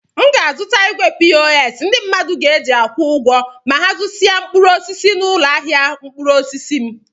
M ga-azụta igwe pos ndị mmadụ ga-eji akwụ ụgwọ ma ha zụrụsịa mkpụrụ osisi n'ụlọ ahịa mkpụrụ osisi m.